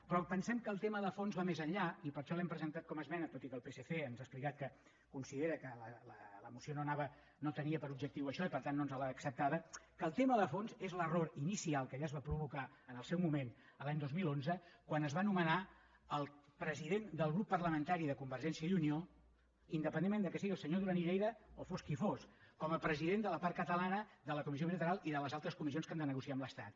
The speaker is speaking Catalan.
però pensem que el tema de fons va més enllà i per això l’hem presentat com a esmena tot i que el psc ens ha explicat que considera que la moció no tenia per objectiu això i per tant no ens l’ha acceptada que el tema de fons és l’error inicial que ja es va provocar en el seu moment l’any dos mil onze quan es va nomenar el president del grup parlamentari de convergència i unió independentment que sigui el senyor duran i lleida o fos qui fos com a president de la part catalana de la comissió bilateral i de les altres comissions que han de negociar amb l’estat